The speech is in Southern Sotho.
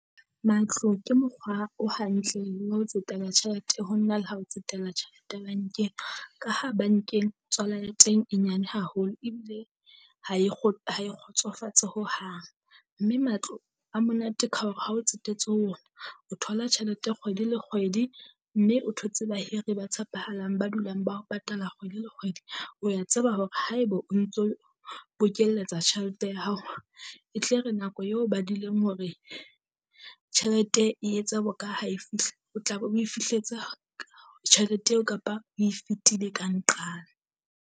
Matlo Ke mokgwa o hantle wa ho tsetela tjhelete ho na le ha o tsetela tjhelete bankeng. Ka ha bankeng tswala ya teng e nyane haholo ebile ha e ha e kgotsofatse hohang. Mme matlo a monate ka hore ha o tsetetse ho ona, o thola tjhelete kgwedi le kgwedi mme o thotse bahire ba tshepahalang ba dulang ba ho patala kgwedi le kgwedi. O ya tseba hore haeba o ntso o bokeletsa tjhelete ya hao, e tle re nako eo o badileng hore tjhelete e etse bokae ha e fihla. O tla be oe fihletse tjhelete eo kapa oe fetile ka nqane.